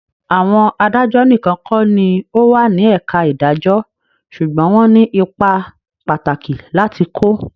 Àwọn adájọ́ nìkan kọ́ ní o wà ní ẹ̀ka ìdàjọ́ ṣùgbọ́n wọ́n ní ipa pàtàkì láti kó.